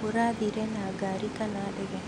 Mũrathire na ngari kana ndege?